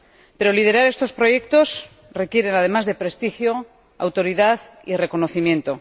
Pero liderar estos proyectos requiere, además de prestigio, autoridad y reconocimiento.